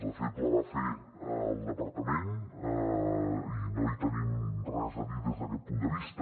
de fet la va fer el departament i no hi tenim res a dir des d’aquest punt de vista